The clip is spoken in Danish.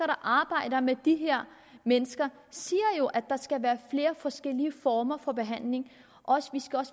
der arbejder med de her mennesker siger jo at der skal være flere forskellige former for behandling og